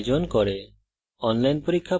কথ্য tutorials ব্যবহার করে কর্মশালার আয়োজন করে